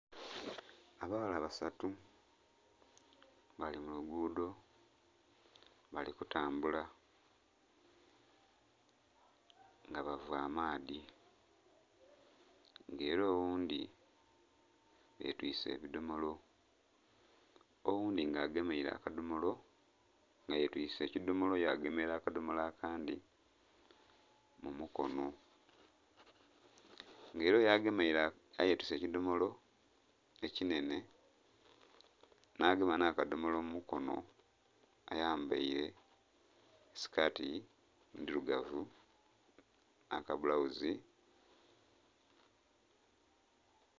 Abaghala basatu bali mu luguudho bali kutambula nga bava amaadhi nga ela oghundhi yetwise ebidhomolo, oghundhi nga agemeile akadhomolo nga yetise ekidhomolo yagemera akadhomola akandhi mu mukono. Nga ela oyo agemeile, ayetiise ekidhomolo ekinhenhe nhagema nhakadhomolo mu mukono ayambaile sikati ndhilugavu nha kabulawuzi...